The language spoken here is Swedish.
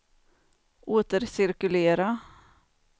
återcirkulera